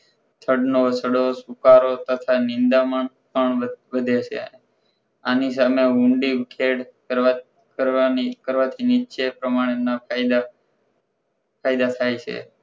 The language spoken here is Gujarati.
તટ નો સડો સુકારો તથા નિંદામણ પણ વધે છે આની સામે ઊંડી ખેળ કરવાની કરવાથી નીચે પ્રમાણેના ફાયદા ફાયદા થાય છે